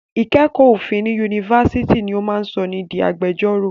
Ìkẹ́kọ̀ọ́ òfin ní Yunifásitì ni ó máa sọ ni di agbẹjọ́rò.